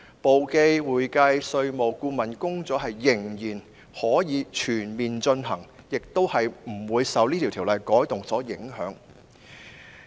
簿記、會計、稅務和顧問工作依然可以全面進行，亦不會受《條例草案》的修訂影響。